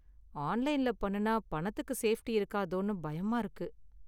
ஆன்லைன்ல பண்ணுனா பணத்துக்கு சேஃப்டி இருக்காதோன்னு பயமா இருக்கு.